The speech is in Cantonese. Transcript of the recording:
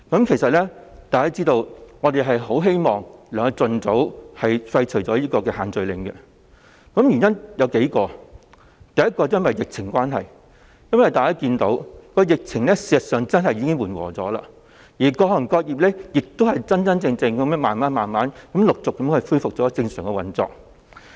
其實大家都知道，我們很希望可以盡早廢除限聚令，原因有數個：第一，疫情方面，事實上，大家看到疫情已緩和，各行各業真真正正地逐漸恢復正常運作。